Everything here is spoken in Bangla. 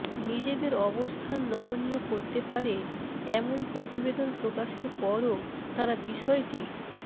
নিজেদের অবস্থান নমনীয় করতে পারে এমন প্রতিবেদন প্রকাশের পরও তারা বিষয়টি